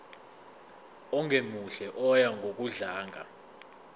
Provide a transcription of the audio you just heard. ongemuhle oya ngokudlanga